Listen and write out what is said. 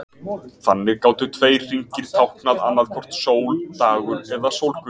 Þannig gátu tveir hringir táknað annaðhvort sól, dagur eða sólguð.